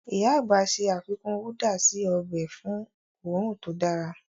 Íyá àgbà ṣe àfikún údà si ọbẹ̀ fun õrùn to dára.